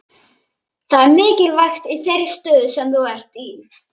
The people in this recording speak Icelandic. Það er mikilvægt í þeirri stöðu sem þú ert í.